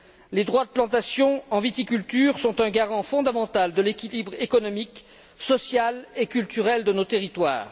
Les droits de plantations en viticulture sont un garant fondamental de l'équilibre économique, social et culturel de nos territoires.